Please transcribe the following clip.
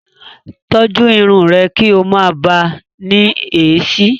Tọ́jú irun rẹ kí o máa bàá ní èéṣí.